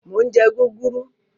Mo ń jẹ́ gúgúrú.